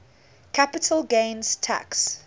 capital gains tax